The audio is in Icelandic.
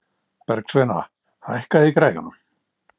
Bergsveina, hækkaðu í græjunum.